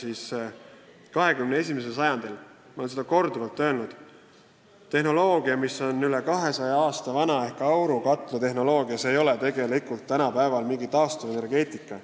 Ent 21. sajandil – ma olen seda korduvalt öelnud – ei ole aurukatlatehnoloogia, mis on üle 200 aasta vana, tegelikult mingi taastuvenergeetika.